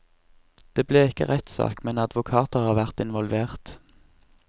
Det ble ikke rettssak, men advokater har vært involvert.